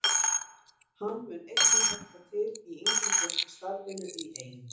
Hann mun einnig hjálpa til í yngri flokka starfinu í Eyjum.